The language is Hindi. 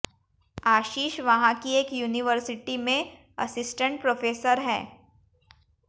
आशीष वहाँ की एक यूनिवार्सिटी में असिसटेंट प्रोफ़ेसर हैं